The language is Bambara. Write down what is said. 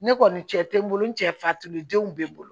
Ne kɔni cɛ tɛ n bolo n cɛ fatudenw bɛ bolo